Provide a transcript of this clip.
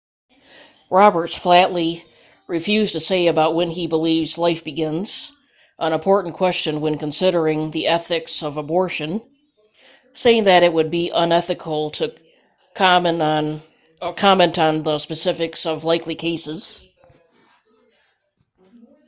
roberts flatly refused to say about when he believes life begins an important question when considering the ethics of abortion saying that it would be unethical to comment on the specifics of likely cases